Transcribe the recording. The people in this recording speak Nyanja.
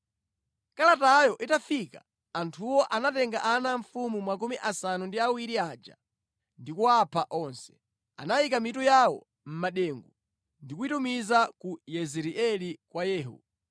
Kalatayo itafika, anthuwo anatenga ana a mfumu 70 aja ndi kuwapha onse. Anayika mitu yawo mʼmadengu ndi kuyitumiza ku Yezireeli kwa Yehu.